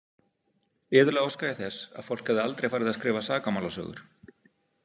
Iðulega óska ég þess að fólk hefði aldrei farið að skrifa sakamálasögur.